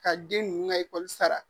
Ka den ninnu ka ekɔli sara